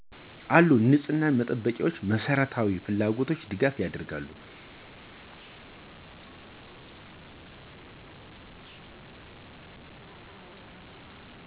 አሉ የንጸህና መጠበቂያወችን፣ መሰረታዋ ፍላጎቶችን ድጋፍ ያደርጋሉ።